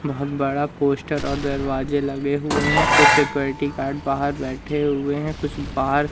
बहोत बड़ा पोस्टर और दरवाजे लगे हुए हैं कुछ सिक्योरिटी गार्ड बाहर बैठे हुए हैं कुछ बाहर--